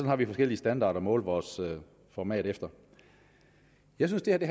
har vi forskellige standarder at måle vores format efter jeg synes at det